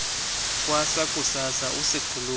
kwasa kusasa usiikhulume